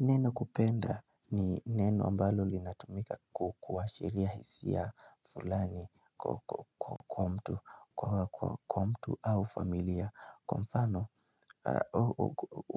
Neno kupenda ni neno ambalo linatumika kuashiria hisia fulani kwa mtu au familia, kwa mfano